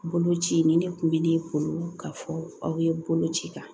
Bolo ci nin de kun bɛ ne bolo ka fɔ aw ye bolo ci kan